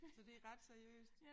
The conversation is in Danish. Så det ret seriøst